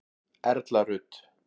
Erla Rut.